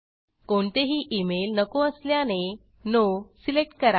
कोणतेही इमेल नको असल्याने नो सिलेक्ट करा